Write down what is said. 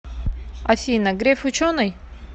афина греф ученый